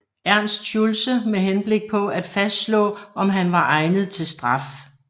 Ernst Schulze med henblik på at fastslå om han var egnet til straf